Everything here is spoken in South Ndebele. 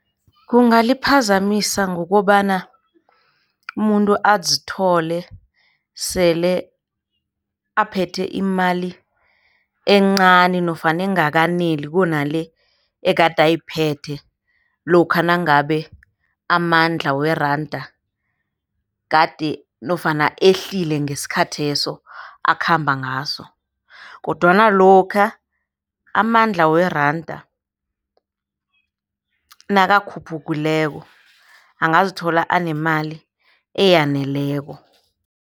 Kungaliphazamisa ngokobana umuntu azithole sele aphethe imali encani nofana ekungakaneli kunale ekade uyiphethe lokha nangabe amandla weranda kade nofana ehlile ngesikhatheso akhamba ngaso, kodwana lokha amandla weranda nakakhuphukileko angazithola anemali eyaneleko.